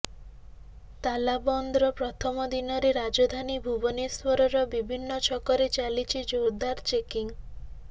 ତାଲାବନ୍ଦର ପ୍ରଥମ ଦିନରେ ରାଜଧାନୀ ଭୁବନେଶ୍ୱରର ବିଭିନ୍ନ ଛକରେ ଚାଲିଛି ଜୋରଦାର ଚେକିଂ